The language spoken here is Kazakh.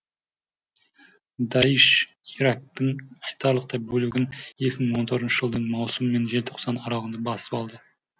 даиш ирактың айтарлықтай бөлігін екі мың он төртінші жылдың маусымы мен желтоқсаны аралығында басып алды